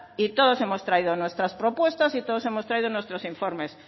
y todos hemos traído nuestras propuestas y todos hemos traído nuestros informes